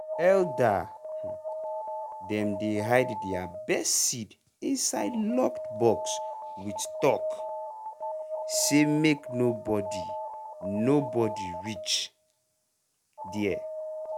elder um dem dey hide their best seed inside locked box with talk um say make no body no body reach um there